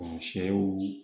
sɛw